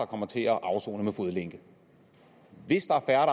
kommer til at afsone med fodlænker hvis der er